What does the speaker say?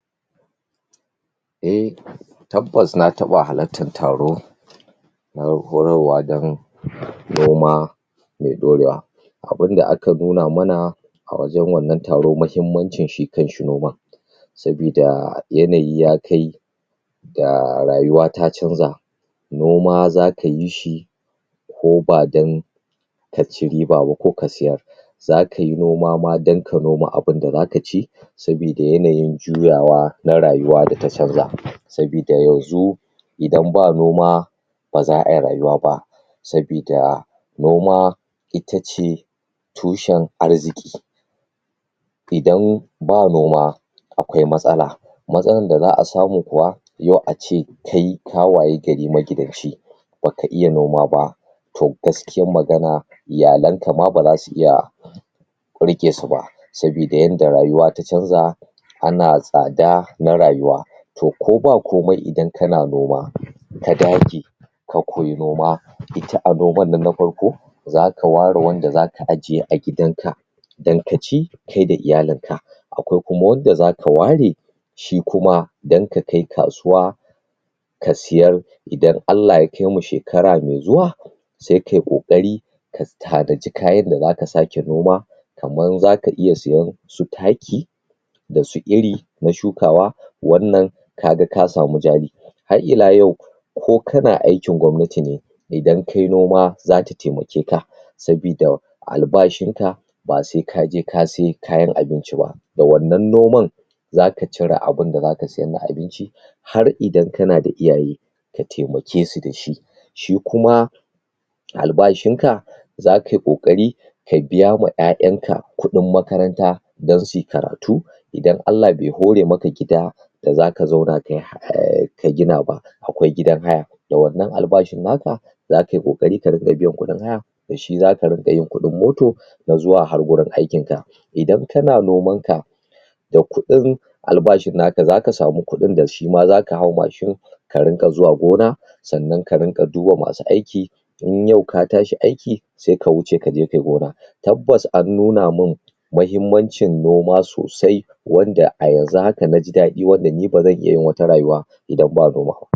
Eh, tabbas na taɓa halattan taro, na horarwa dan noma me ɗorewa. Abunda aka nuna mana a wajan wannan taro, mahimmancin shi kanshi noman. Sabida yanayi ya kai ga rayuwa ta canza, noma za kayi shi ko ba dan kaci riba ba ko ka sayar, za kai noma ma dan ka shuka abinda zaka ci, sabida yanayin juyawa na rayuwa da ta canza. Sabida yanzu idan ba noma, ba za ai rayuwa ba, sabida noma ita ce tushen arziki. Idan ba noma, akwai matsala. Matsalan da za a samu kuwa, yau ace kai ka wayi gari magidanci, baka iya noma ba, to gaskiyan magana, iyalanka ma ba zasu iya riƙe su ba. sabida yanda rayuwa ta canza, ana tsada na rayuwa. To, ko ba komai idan kana noma, ka dage ka koyi noma. Ita a noman nan na farko, zaka ware wanda zaka ajiye a gidan ka, dan ka ci kai da iyalin ka. Akwai kuma wanda zaka ware, shi kuma dan ka kai kasuwa ka siyar, idan Allah ya kaimu shekara mai zuwa, sai kai ƙoƙari, ka tanaji kayan da zaka sake noma, kaman zaka iya siyen su taki, da su iri na shukawa, wannan kaga ka samu jari. Hah'ila yau, ko kana aikin gwamnati ne, idan kai noma zata taimake ka, sabida albashin ka, ba sai kaje ka sai kayan abinci ba, da wannan noman, za ka cire abinda zaka cire na abinci, har idan kana da iyali, ka taimake su dashi. Shi kuma albashin ka, za kayi ƙoƙari, ka biya ma ƴaƴan ka kuɗin makaranta, dan suyi karatau, idan Allah bai hore maka gida da zaka gina ba, akwai gidan haya, da wannan albashin naka, za kayi ƙoƙari ka dinga biyan kuɗin haya, da shi zaka rinƙa yin kuɗin moto, na zuwa har wurin aikin ka. Idan kana noman ka, da kuɗin albashin naka, zaka samu kuɗin da shima zaka hau mashin, ka rinƙa zuwa gona, sannan ka rinƙa duba masu aiki, in yau ka tashi aiki, sai ka wuce kaje kayi gona. Tabbas an nuna mun mahimmancin noma sosai, wanda a yanzu haka naji daɗi, wanda ni ba zan iya yin wata rayuwa idan ba noma.